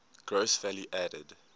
gross value added